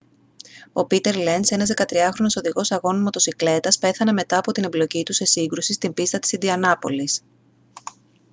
ο πήτερ λενζ ένας 13χρονος οδηγός αγώνων μοτοσικλέτας πέθανε μετά από την εμπλοκή του σε σύγκρουση στην πίστα της ιντιανάπολις